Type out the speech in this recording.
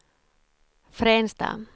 Fränsta